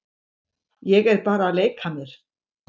Ég er bara að leika mér.